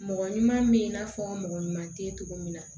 Mɔgɔ ɲuman bɛ i n'a fɔ mɔgɔ ɲuman tɛ cogo min na